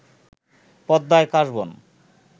পদ্মায় কাশবন